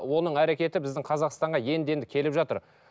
оның әрекеті біздің қазақстанға енді енді келіп жатыр